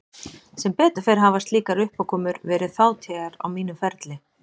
Sem betur fer hafa slíkar uppákomur verið fátíðar á mínum ferli.